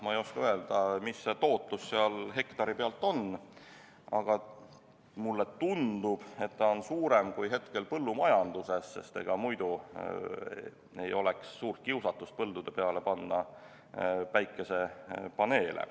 Ma ei oska öelda, mis see tootlus seal hektari pealt on, aga mulle tundub, et ta on suurem kui hetkel põllumajanduses, sest ega muidu ei oleks suurt kiusatust panna päikesepaneele põldude peale.